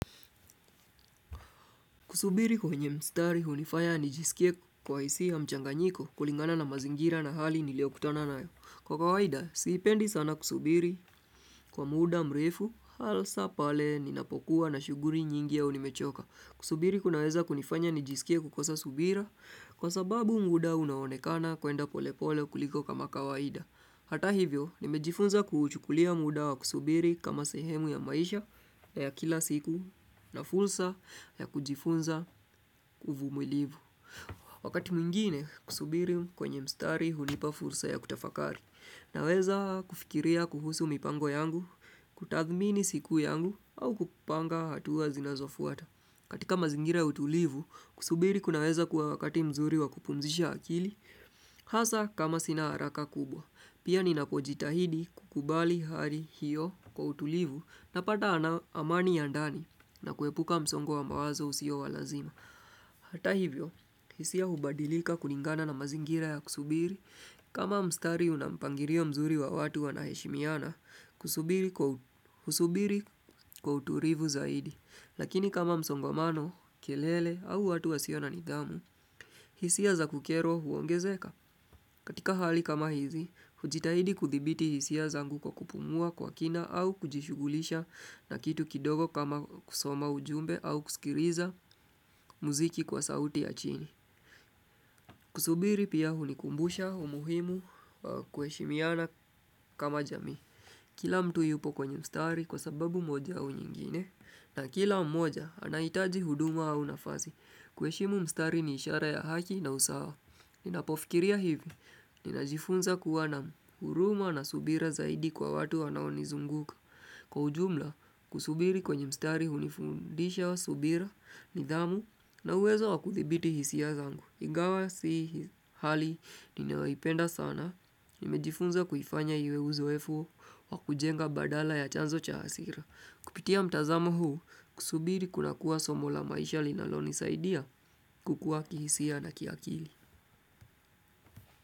Kusubiri kwenye mstari hunifaya nijisikie kuwa na hisia ya mchanganyiko kulingana na mazingira na hali niliokutana nayo. Kwa kawaida, siipendi sana kusubiri kwa muda mrefu, hasa pale ninapokuwa na shughuli nyingi ya nimechoka. Kusubiri kunaweza kunifanya nijisikie kukosa subira kwa sababu muda unaonekana kwenda polepole kuliko kama kawaida. Hata hivyo, nimejifunza kuuchukulia muda wa kusubiri kama sehemu ya maisha ya kila siku na fursa ya kujifunza uvumilivu. Wakati mwingine kusubiri kwenye mstari hunipa fursa ya kutafakari. Naweza kufikiria kuhusu mipango yangu, kutathmini siku yangu au kupanga hatua zinazofuata. Katika mazingira ya utulivu, kusubiri kunaweza kuwa wakati mzuri wa kupumzisha akili. Hasa kama sina haraka kubwa Pia ninapojitahidi kukubali hali hiyo kwa utulivu Napata amani ya ndani na kuepuka msongwa wa mawazo usio wa lazima Hata hivyo, hisia hubadilika kulingana na mazingira ya kusubiri kama mstari unampangilio mzuri wa watu wanaheshimiana Kusubiri kwa utulivu zaidi Lakini kama msongomano kelele au watu wasio na nidhamu hisia za kukerwa huongezeka katika hali kama hizi, ujitahidi kuthibiti hisia zangu kwa kupumua kwa kina au kujishugulisha na kitu kidogo kama kusoma ujumbe au kusikiliza muziki kwa sauti ya chini. Kusubiri pia hunikumbusha, umuhimu wa kuheshimiana kama jamii. Kila mtu yupo kwenye mstari kwa sababu moja au nyingine, na kila mmoja anahitaji huduma au nafasi. Kuheshimu mstari ni ishara ya haki na usawa. Ninapofikiria hivi, ninajifunza kuwa na huruma na subira zaidi kwa watu wanaonizunguka. Kwa ujumla, kusubiri kwenye mstari hunifundisha subira, nidhamu, na uwezo wa kuthibiti hisia zangu. Ingawa si hali, ninayoipenda sana, nimejifunza kuifanya iwe uzoefu wa kujenga badala ya chanzo cha hasira. Kupitia mtazamo huu, kusubiri kuna kuwa somo la maisha linalonisaidia kukuwa kihisia na kiakili.